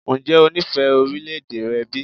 Ǹjẹ́ o nífẹ̀ẹ́ orílẹ̀-èdè rẹ bí?